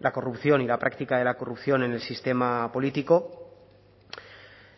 la corrupción y la práctica de la corrupción en el sistema político